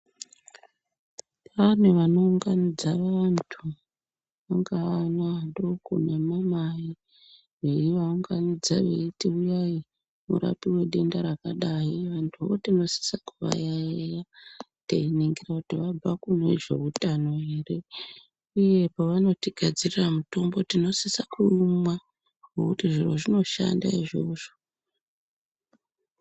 Pane vanounganidza vantu vangaa ana adoko nemamai. Veivaunganidza veiti,"Uyai murapiwe denda rakadai." Vantuwo tinosisa kuvayaiya teiningira kuti vabva kune zveutano here uye pavanotigadzirira mutombo tinosisa kuumwa, ngekuti zviro zvinoshanda izvozvo.